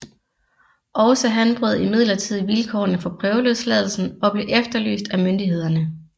Også han brød imidlertid vilkårene for prøveløsladelsen og blev efterlyst af myndighederne